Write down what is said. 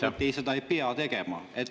… ta arvas, et seda ei pea tegema.